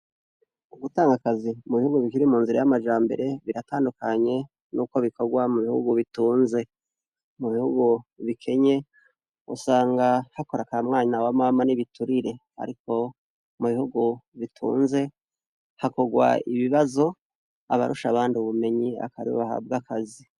Gutanga akazi mubihugu bikiri munzira yamajambere biratandukanye nuko bikorwa mubihugu itunze. Mubihugu bikenye usanga akora ka mwana wa mama nibiturire Ariko mubihugu biteye imbere bakora ibibazo hama uwurusha abandi akaba ariwe aronka akazi.